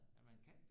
At man kan